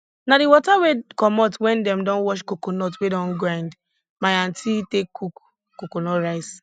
na di wata wey comot wen dem don wash coconut wey don grind my aunty take cook coconut rice